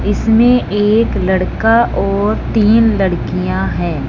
इसमें एक लड़का और तीन लड़कियां हैं।